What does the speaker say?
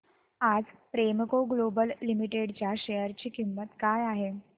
आज Premco global limited च्या share ची किंमत काय आहे